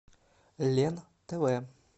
лен тв